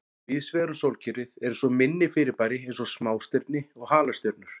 Víðsvegar um sólkerfið eru svo minni fyrirbæri eins og smástirni og halastjörnur.